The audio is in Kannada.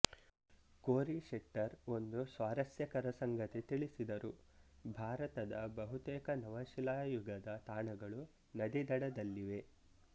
ಕೋರಿಶೆಟ್ಟರ್ ಒಂದು ಸ್ವಾರಸ್ಯಕರ ಸಂಗತಿ ತಿಳಿಸಿದರು ಭಾರತದ ಬಹುತೇಕ ನವಶಿಲಾಯುಗದ ತಾಣಗಳು ನದಿದಡದಲ್ಲಿವೆ